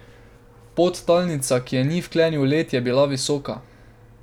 Podtalnica, ki je ni vklenil led, je bila visoka.